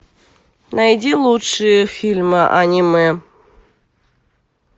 найди лучшие фильмы аниме